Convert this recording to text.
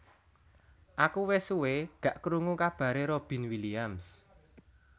Aku wes suwe gak krungu kabare Robin Williams